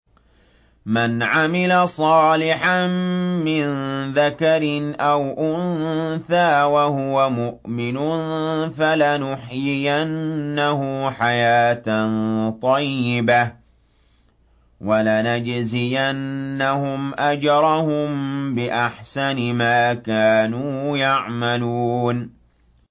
مَنْ عَمِلَ صَالِحًا مِّن ذَكَرٍ أَوْ أُنثَىٰ وَهُوَ مُؤْمِنٌ فَلَنُحْيِيَنَّهُ حَيَاةً طَيِّبَةً ۖ وَلَنَجْزِيَنَّهُمْ أَجْرَهُم بِأَحْسَنِ مَا كَانُوا يَعْمَلُونَ